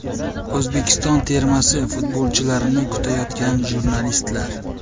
O‘zbekiston termasi futbolchilarini kutayotgan jurnalistlar.